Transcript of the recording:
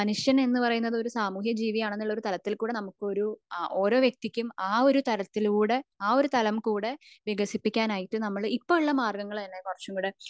മനുഷ്യൻ എന്ന് പറയുന്നത് ഒരു സാമൂഹ്യ ജീവി ആണെന്ന് ഉള്ള തലത്തിൽ കൂടെ ഒരു ഓരോ വ്യക്തിക്കും അഹ് ഒരു തലത്തിൽ കൂടെ അഹ് ഒരു താലം കൂടെ വികസിപ്പിക്കാൻ ആയിട്ട് ഇപ്പൊ ഉള്ള മാര്ഗങ്ങള് തന്നെ കുറച്ച്